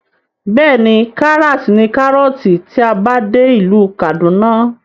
Bẹ́ẹ̀ni, karas ní kárọ̀ọ̀tì tí a bá dé ìlú kàdúná